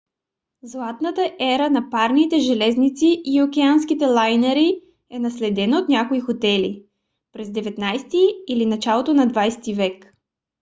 златната ера на парните железници и океанските лайнери е наследена от някои хотели; преди свii през 19 - ти или началото на 20 - ти век